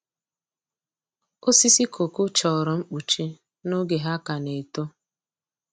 Osisi kooko chọrọ mkpuchi n’oge ha ka na-eto.